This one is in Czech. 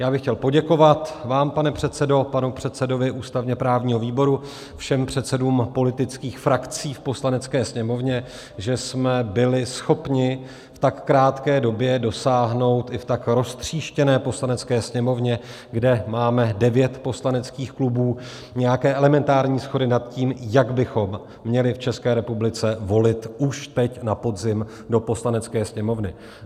Já bych chtěl poděkovat vám, pane předsedo, panu předsedovi ústavně-právního výboru, všem předsedům politických frakcí v Poslanecké sněmovně, že jsme byli schopni v tak krátké době dosáhnout i v tak roztříštěné Poslanecké sněmovně, kde máme devět poslaneckých klubů, nějaké elementární shody nad tím, jak bychom měli v České republice volit už teď na podzim do Poslanecké sněmovny.